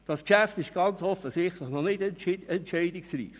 Das Geschäft ist ganz offensichtlich noch nicht entscheidungsreif.